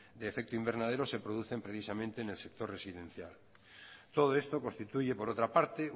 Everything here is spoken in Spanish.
de efecto invernadero se producen precisamente en el sector residencial todo esto constituye por otra parte